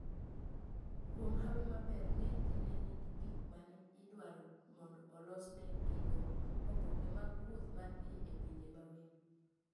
Kuom hawi maber, ng'eny ji ne nigi gik mane idwaro mondo olosnegigo oboke mag wuth mar dhi e pinje ma welo.